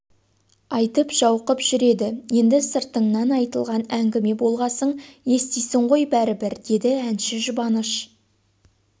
айтып жау қып жүреді енді сыртыңнан айтылған әңгіме болғасын естисің ғой бәрібір деді әнші жұбаныш